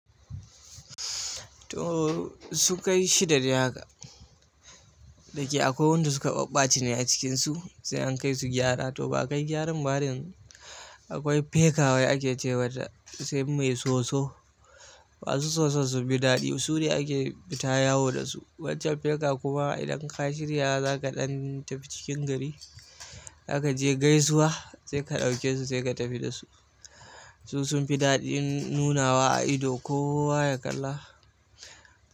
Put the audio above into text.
To su kai shida dai haka, da ke akwai wanda suka ɓatace ne a cikinsu sai an kai su gyara. To ba kai gyaran ba dan akwai feka wai ake ce wa ta sai mai soso. Ba su soso su bi daɗi su ne ake fita yawo da su. Wancan feka kuma idan ka shirya za ka ɗan tafi cikin gari, za ka je gaisuwa sai ka ɗauke su sai ka tafi da su. Su sun fi daɗi nunawa a ido. Ko wa ya kalla.